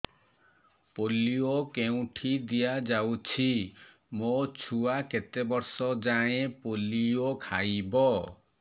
polio କେଉଁଠି ଦିଆଯାଉଛି ମୋ ଛୁଆ କେତେ ବର୍ଷ ଯାଏଁ ପୋଲିଓ ଖାଇବ